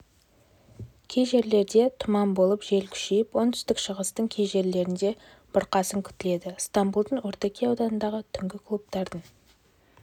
кей жерлерде тұман болып жел күшейіп оңтүстік-шығыстың кей жерлерінде бұрқасын күтіледі ыстамбұлдың ортакөй ауданындағы түнгі клубтардың